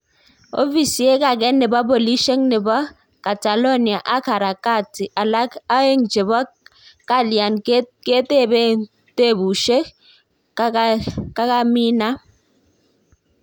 Ofisek age nepo polishek nepo catalonia ak harakati alak aegn chepo kalian ketepen tepushek kakaminam